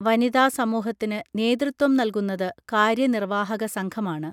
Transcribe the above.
വനിതാ സമൂഹത്തിന് നേതൃത്വം നൽകുന്നത് കാര്യനിർവ്വാഹകസംഘമാണ്